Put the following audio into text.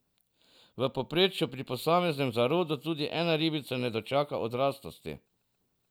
V povprečju pri posameznem zarodu tudi ena ribica ne dočaka odraslosti.